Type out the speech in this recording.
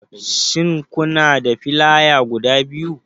Shin kana da filaya guda biyu?